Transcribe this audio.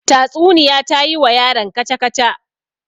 Tatsuniya ta yi wa yaron kaca-kaca.